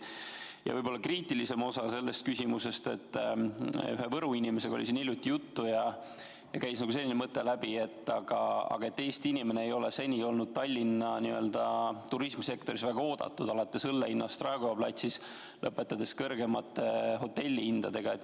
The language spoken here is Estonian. Ja võib-olla kriitilisem osa selle küsimuse puhul on see, et hiljuti oli siin ühe Võru inimesega juttu ja käis läbi selline mõte, et Eesti inimene ei ole seni olnud Tallinna turismisektoris väga oodatud – alates õlle hinnast Raekoja platsil ja lõpetades kõrgemate hotellihindadega.